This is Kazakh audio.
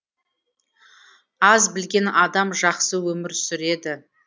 аз білген адам жақсы өмір сүреді